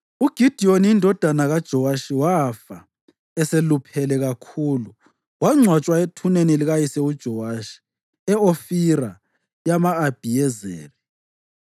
UGidiyoni indodana kaJowashi wafa eseluphele kakhulu wangcwatshwa ethuneni likayise uJowashi e-Ofira yama-Abhiyezeri.